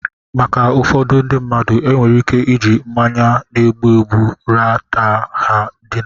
Maka ụfọdụ ndị mmadụ, enwere ike iji mmanya na-egbu egbu ra ta ha ndina.